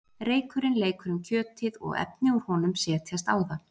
reykurinn leikur um kjötið og efni úr honum setjast á það